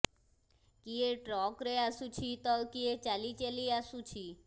କିଏ ଟ୍ରକରେ ଆସୁଛି ତ କିଏ ଚାଲି ଚାଲି ଆସୁଛି